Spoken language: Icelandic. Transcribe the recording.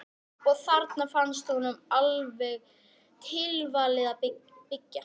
Og þarna fannst honum alveg tilvalið að byggja.